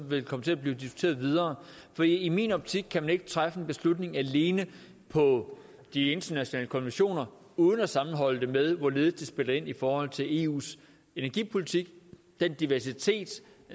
vil komme til at blive diskuteret videre for i min optik kan man ikke træffe en beslutning alene på de internationale konventioner uden at sammenholde det med hvorledes det spiller ind i forhold til eus energipolitik og den diversitet